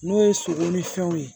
N'o ye sogo ni fɛnw ye